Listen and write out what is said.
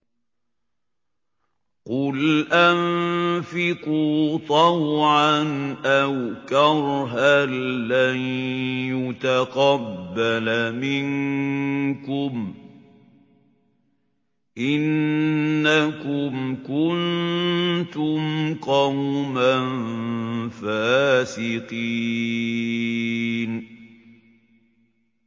قُلْ أَنفِقُوا طَوْعًا أَوْ كَرْهًا لَّن يُتَقَبَّلَ مِنكُمْ ۖ إِنَّكُمْ كُنتُمْ قَوْمًا فَاسِقِينَ